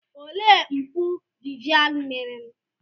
Olee mpụ Vivian mere?